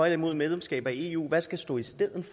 imod medlemskab af eu hvad skal stå i stedet